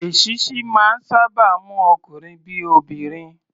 Èṣíṣí máa ń sáábà mú ọkunrin bí i obìnrin.